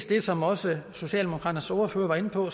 det som også socialdemokraternes ordfører var inde på